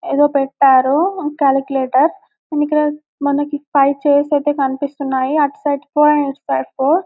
ఏదో పెట్టారు calculator and ఇక్కడ మనకు ఫైవ్ చైర్స్ అయితే కనిపిస్తున్నాయి అటు సైడ్ ఇటు సైడ్ --.